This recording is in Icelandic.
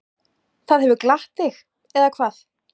Það hefur glatt þig, eða hvað?